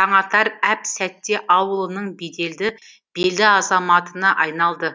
таңатар әп сәтте ауылының беделді белді азаматына айналды